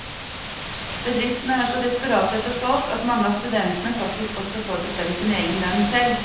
Bedriftene er så desperate etter folk at mange av studentene faktisk også får bestemme sin egen lønn selv.